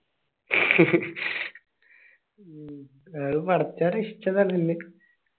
ഉം വേറെ പറച്ചലി ഇഷ്ടല്ല ഇങ്ങക്ക്